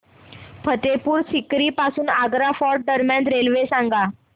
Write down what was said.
फतेहपुर सीकरी पासून आग्रा फोर्ट दरम्यान रेल्वे सांगा